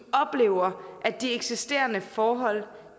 oplever at de eksisterende forhold